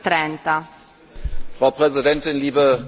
Frau Präsidentin, liebe Kolleginnen und Kollegen!